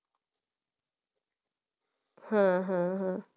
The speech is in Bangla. হ্যাঁ হ্যাঁ হ্যাঁ